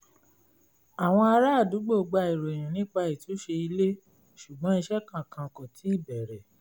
àwọn ará àdúgbò gba ìròyìn nípa ìtúnṣe ilé ṣùgbọ́n iṣẹ́ kankan kò tíì bẹ̀rẹ̀